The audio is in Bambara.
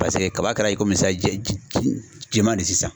Paseke kaba kɛra i sisan jama de sisan.